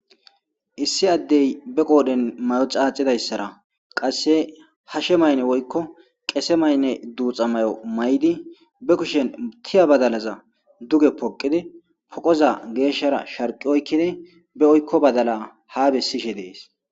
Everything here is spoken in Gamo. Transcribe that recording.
Issi addey be qoodhen mayo caacidayssara qasse hashe maynne woykko qese maynne duuxa may7o may7di be kushen tiya badalaza duge poqidi poqoza geeshshara sharqi oykkidi be oykko badala ha bessishe dees